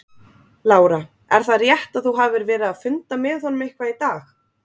Lára: Er það rétt að þú hafir verið að funda með honum eitthvað í dag?